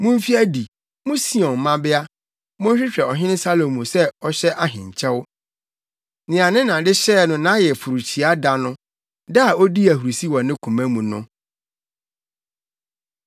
Mumfi adi, mo Sion mmabea, mommɛhwɛ ɔhene Salomo sɛ ɔhyɛ ahenkyɛw nea ne na de hyɛɛ no nʼayeforohyia da no, da a odii ahurusi wɔ ne koma mu no.